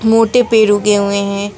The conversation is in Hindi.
मोटे पेड़ उगे हुए हैं।